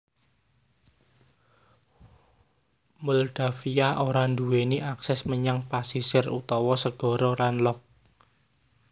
Moldavia ora nduwèni akses menyang pasisir utawa segara landlocked